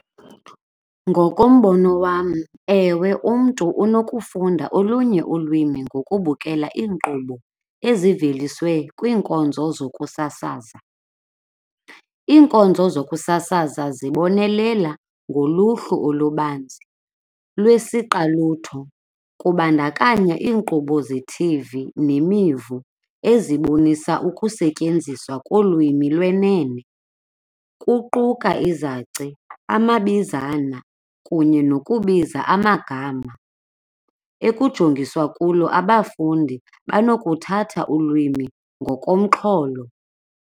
Ngokombono wam, ewe umntu unokufunda olunye ulwimi ngokubukela iinkqubo eziveliswe kwiinkonzo zokusasaza. Iinkonzo zokusasaza zibonelela ngoluhlu olubanzi lwesiqalutho, kubandakanya iinkqubo ze-T_V nemivu ezibonisa ukusetyenziswa kolwimi lwenene kuquka izaci, amabizana kunye nokubiza amagama. Ekujongiswa kulo abafundi banokuthatha ulwimi ngokomxholo.